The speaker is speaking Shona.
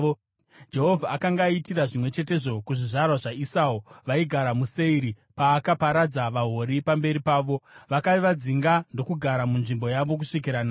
Jehovha akanga aitira zvimwe chetezvo kuzvizvarwa zvaEsau, vaigara muSeiri, paakaparadza vaHori pamberi pavo. Vakavadzinga ndokugara munzvimbo yavo kusvikira nhasi.